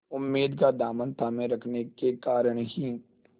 उम्मीद का दामन थामे रखने के कारण ही